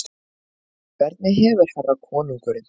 Hvernig hefur herra konungurinn það?